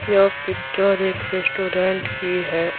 यह पिक्चर एक रेस्टोरेंट की है।